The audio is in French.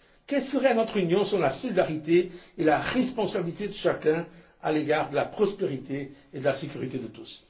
Et que serait notre Union sans la solidarité et la responsabilité de chacun à l'égard de la prospérité et de la sécurité de tous?